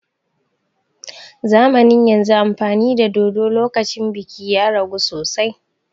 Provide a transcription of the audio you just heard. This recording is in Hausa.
Zamanin yanzun amfani da dodo lokacin biki ya ragu sosai